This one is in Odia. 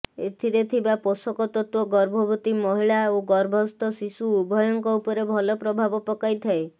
ଏଥିରେ ଥିବା ପୋଷକ ତତ୍ତ୍ୱ ଗର୍ଭବତୀ ମହିଳା ଓ ଗର୍ଭସ୍ଥ ଶିଶୁ ଉଭୟଙ୍କ ଉପରେ ଭଲ ପ୍ରଭାବ ପକାଇଥାଏ